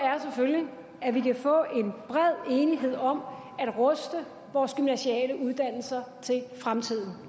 er selvfølgelig at vi kan få en bred enighed om at ruste vores gymnasiale uddannelser til fremtiden